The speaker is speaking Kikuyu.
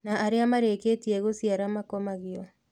Na arĩa marĩkĩtie gũciara makomagio